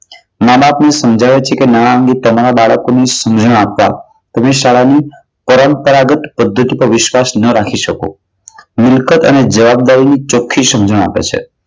મા-બાપ ના સમજાવ્યા પછી ના તમારા બાળકોની સમજણા શાળા ની પરંપરાગત જેના પર તમે વિશ્વાસ ન રાખી શકો. મિલકત અને જવાબદારી ચોખ્ખી સમજણ આપે છે.